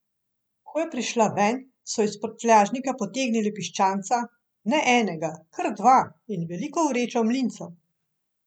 Ko je prišla ven, so iz prtljažnika potegnili piščanca, ne enega, kar dva, in veliko vrečo mlincev.